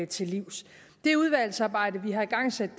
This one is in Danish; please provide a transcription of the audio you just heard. til livs det udvalgsarbejde vi har igangsat